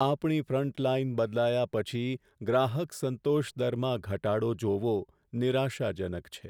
આપણી ફ્રન્ટલાઈન બદલાયા પછી ગ્રાહક સંતોષ દરમાં ઘટાડો જોવો નિરાશાજનક છે.